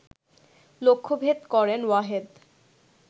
লক্ষ্যভেদ করেন ওয়াহেদ